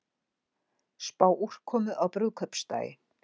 Spá úrkomu á brúðkaupsdaginn